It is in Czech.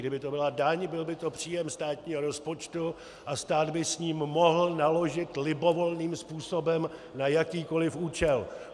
Kdyby to byla daň, byl by to příjem státního rozpočtu a stát by s ním mohl naložit libovolným způsobem na jakýkoliv účel.